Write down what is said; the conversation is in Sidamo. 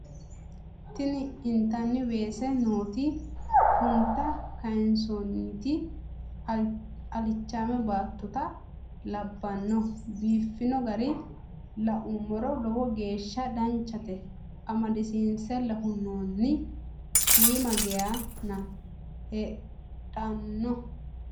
Tini intanni weese nooti funta kaansoonniti alichaame baattota labbanno biiffino gara laummoro lowo geeshsha danchate amadisiinsella hunnoonni shiima geyana. Heedhona